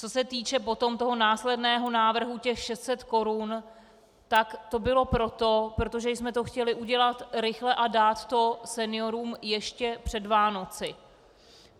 Co se týče potom toho následného návrhu, těch 600 korun, tak to bylo proto, protože jsme to chtěli udělat rychle a dát to seniorům ještě před Vánoci.